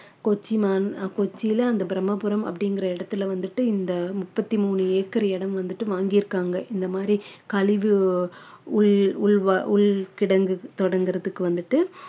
கொச்சிமான் அஹ் கொச்சியில அந்த பிரம்மபுரம் அப்படிங்கிற இடத்துல வந்துட்டு இந்த முப்பத்தி மூணு ஏக்கர் இடம் வந்துட்டு வாங்கி இருக்காங்க இந்த மாதிரி கழிவு உள் உள் வ~ உள் கிடங்கு தொடங்குறதுக்கு வந்துட்டு